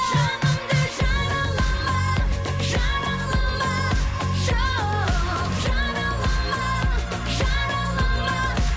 жанымды жаралама жаралама жоқ жаралама жаралама